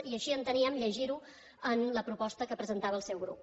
i així enteníem llegir ho en la proposta que presentava el seu grup